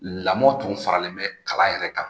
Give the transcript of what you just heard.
Lamɔ tun faralen bɛ kalan yɛrɛ kan